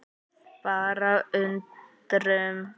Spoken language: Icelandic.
Bara undrun.